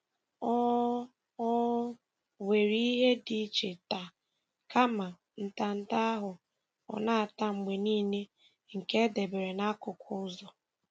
O O were ihe dị iche taa kama ntanta ahụ ọ na-ata mgbe niile nke e debere n'akụkụ ụzọ.